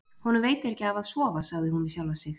Honum veitir ekki af að sofa, sagði hún við sjálfa sig.